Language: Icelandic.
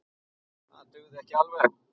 Það dugði ekki alveg.